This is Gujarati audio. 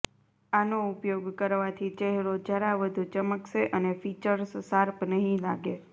આનો ઉપયોગ કરવાથી ચહેરો જરા વધુ ચમકશે અને ફીચર્સ શાર્પ નહીં લાગે